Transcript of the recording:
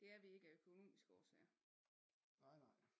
Det er vi ikke af økonomiske årsager